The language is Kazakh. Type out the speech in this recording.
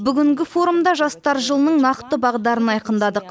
бүгінгі форумда жастар жылының нақты бағдарын айқындадық